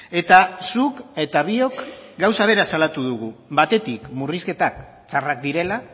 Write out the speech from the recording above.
eta zuk eta biok gauza bera salatu dugu batetik murrizketak txarrak direla